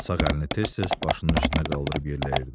Sağ əlini tez-tez başının üstünə qaldırıb yelləyirdi.